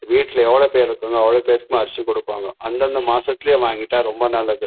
வீட்ல எவ்ளோ பேர் இருக்காங்கோ அவளோ பேர்க்குமே அரிசி குடுப்பாங்க அந்த அந்த மாசதுலே வாங்கிட்டா ரொம்ப நல்லது.